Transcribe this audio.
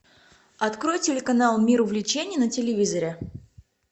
открой телеканал мир увлечений на телевизоре